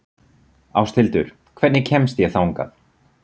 Ásthildur, hvernig kemst ég þangað?